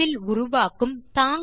ஒரே வில் உருவாக்கும்